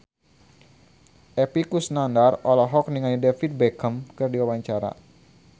Epy Kusnandar olohok ningali David Beckham keur diwawancara